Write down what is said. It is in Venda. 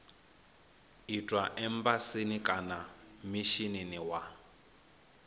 itwa embasini kana mishinini wa